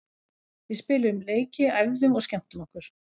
Við spiluðum leiki, æfðum og skemmtum okkur.